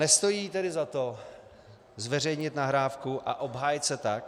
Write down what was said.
Nestojí tedy za to zveřejnit nahrávku a obhájit se tak?